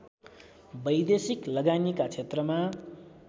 वैदेशिक लगानीका क्षेत्रमा